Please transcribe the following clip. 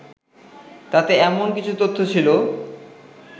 তাতে এমন কিছু তথ্য ছিল